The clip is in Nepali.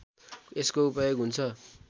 यसको उपयोग हुन्छ